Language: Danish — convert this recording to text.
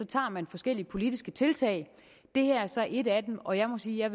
tager man forskellige politiske tiltag det her er så et af dem og jeg må sige at